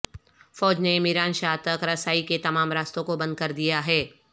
فوج نے میران شاہ تک رسائی کے تمام راستوں کو بند کر دیا ہے